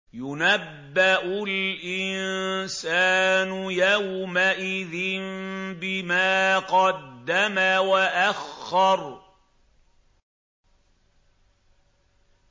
يُنَبَّأُ الْإِنسَانُ يَوْمَئِذٍ بِمَا قَدَّمَ وَأَخَّرَ